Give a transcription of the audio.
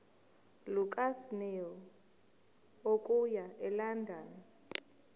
lukasnail okuya elondon